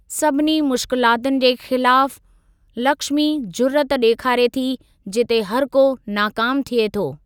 सभिनी मुश्किलातुनि जे ख़िलाफ़ु लक्ष्मी ज़ुर्रत ॾेखारे थी जिते हरिको नाकामु थिए थो।